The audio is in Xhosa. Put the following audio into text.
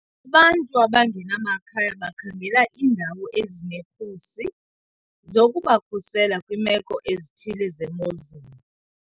Abantu abangenamakhaya bakhangela iindawo ezinekhusi zokubakhusela kwiimeko ezithile zemozulu.